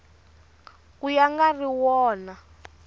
ka ya nga ri wona